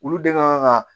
Olu de kan ka